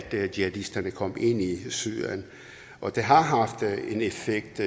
jihadisterne kom ind i syrien og det har haft en effekt